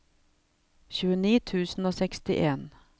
tjueni tusen og sekstien